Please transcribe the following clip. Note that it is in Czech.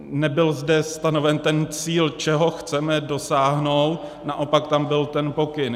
Nebyl zde stanoven ten cíl, čeho chceme dosáhnout, naopak tam byl ten pokyn.